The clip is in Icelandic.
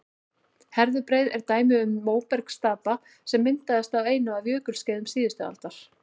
herðubreið er dæmi um móbergsstapa sem myndaðist á einu af jökulskeiðum síðustu ísaldar